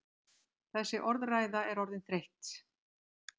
Þessi orðræða er orðin þreytt!